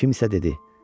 Kimsə dedi: